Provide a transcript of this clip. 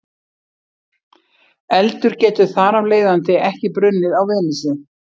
Eldur getur þar af leiðandi ekki brunnið á Venusi.